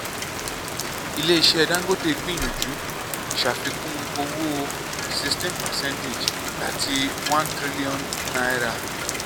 ilé iṣẹ́ dangote gbìyànjú ṣàfikún owó sixteen percentage láti one trillion naira